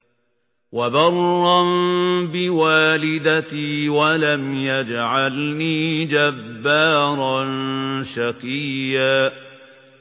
وَبَرًّا بِوَالِدَتِي وَلَمْ يَجْعَلْنِي جَبَّارًا شَقِيًّا